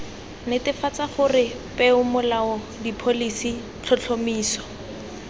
netefatsa gore peomolao dipholisi tlhotlhomiso